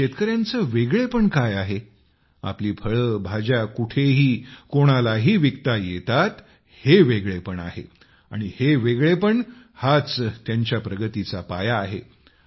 या शेतकऱ्यांचे वेगळेपण काय आहे आपली फळे भाज्या कुठेही कोणालाही विकता येतात हे वेगळेपण आहे आणि हे वेगळेपण हाच त्यांच्या प्रगतीचा पाया आहे